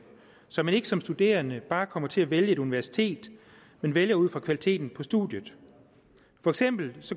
så man ikke som studerende bare kommer til at vælge et universitet men vælger ud fra kvaliteten på studiet for eksempel